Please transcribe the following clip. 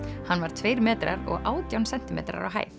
hann var tveir metrar og átján sentímetrar á hæð